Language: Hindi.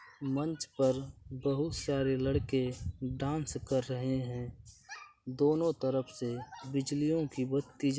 मंच पर बोहोत सारे लड़के डांस कर रहे हैं। दोनों तरफ से बिजलियों की बहोत तेज --